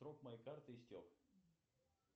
срок моей карты истек